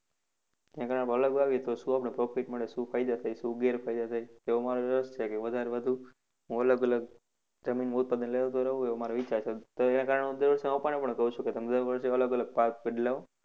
કેમ કે આમ કંઈક અલગ વાવીએ તો શું આપણે profit મળે શું ફાયદા થાય શું ગેરફાયદા તો અમારે વધારે વધુ અલગ અલગ એવો મારો વિચાર છે. તેને કારણે હું મારા પપ્પાને પણ કહું છું કે તમે દર વર્ષે અલગ અલગ પાક બદલાવો.